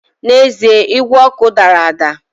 N’ezie igwe ọkụ dara ada